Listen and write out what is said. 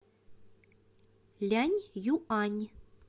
ляньюань